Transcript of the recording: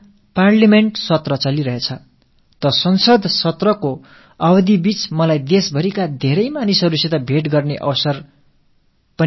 எனதருமை நாட்டு மக்களே நாடாளுமன்ற கூட்டத் தொடர் நடைபெற்று வரும் வேளையில் நாட்டுமக்கள் பலரை சந்திக்கும் வாய்ப்பு எனக்குக் கிட்டி வருகிறது